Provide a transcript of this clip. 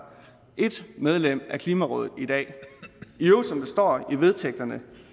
et medlem af klimarådet i dag i øvrigt står der i vedtægterne